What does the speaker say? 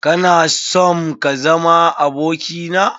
Kana sonm kazama abokina?